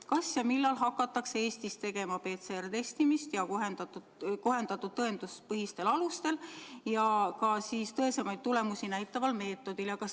Kas ja millal hakatakse Eestis tegema PCR-testimist kohendatud tõenduspõhistel alustel ja tõesemaid tulemusi näitaval meetodil?